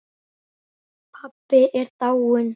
Pabbi er dáinn